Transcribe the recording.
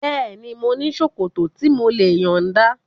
Bẹ́ẹ̀ni, mo ní ṣòkòtò tí mò lè yọ̀nda